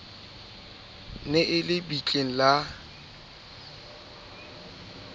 ne e le bitleng la